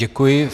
Děkuji.